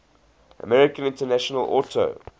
american international auto